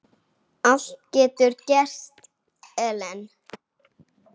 Allt getur gerst, Ellen.